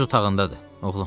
Öz otağındadır, oğlum.